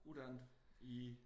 Uddannet i?